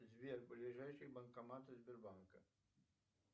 сбер ближайшие банкоматы сбербанка